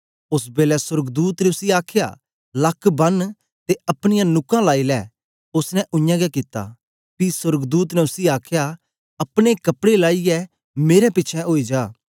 ओस बेलै सोर्गदूत ने उसी आखया लक बन्न ते अपनीयां नुकां लाई लै ओसने उयांगै कित्ता पी सोर्गदूत ने उसी आखया अपने कपड़े लाईयै मेरे पिछें ओई जा